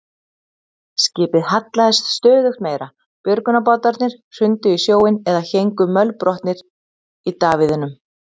Skipið hallaðist stöðugt meira, björgunarbátarnir hrundu í sjóinn eða héngu mölbrotnir í davíðunum.